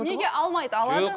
неге алмайды алады